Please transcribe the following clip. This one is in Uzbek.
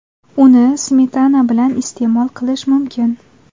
Uni smetana bilan iste’mol qilish mumkin.